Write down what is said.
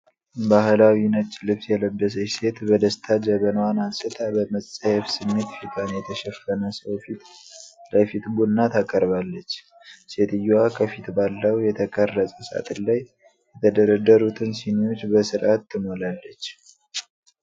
ባህላዊ ነጭ ልብስ የለበሰች ሴት በደስታ ጀበናዋን አንስታ በመጸየፍ ስሜት ፊቷን የሸፈነ ሰው ፊት ለፊት ቡና ታቀርባለች። ሴትየዋ ከፊት ባለው የተቀረጸ ሳጥን ላይ የተደረደሩትን ሲኒዎች በሥርዓት ትሞላለች።